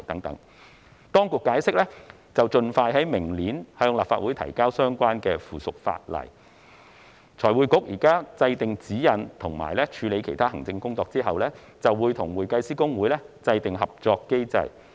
當局解釋將盡快在明年向立法會提交相關附屬法例，財匯局現時制訂指引和處理其他行政工作後，會與會計師公會制訂合作機制。